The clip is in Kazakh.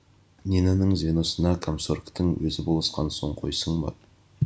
нинаның звеносына комсоргтың өзі болысқан соң қойсын ба